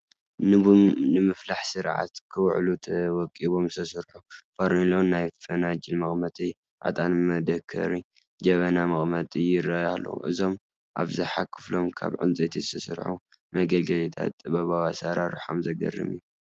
ንቡን ምፍላሕ ስርዓት ክውዕሉ ተወቓቒቦም ዝተሰርሑ ፈርኖሎ፣ ናይ ፈናጅል መቐመጢ፣ ዕጣን መደከሪ፣ ጀበና መቐመጢ ይርአዩ ኣለዉ፡፡ እዞም ኣብዝሓ ክፋሎም ካብ ዕንጨይቲ ዝተሰርሑ መገልገልታት ጥበባዊ ኣሰራርሖኦም ዘግርም እዩ፡፡